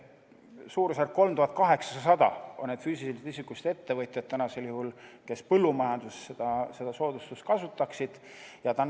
Suurusjärgus on täna 3800 füüsilisest isikust ettevõtjat, kes põllumajanduses seda soodustust kasutaksid.